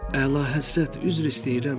Əlahəzrət, üzr istəyirəm.